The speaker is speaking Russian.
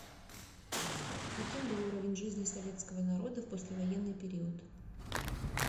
каким был уровень жизни советского народа в послевоенный период